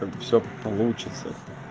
всё получится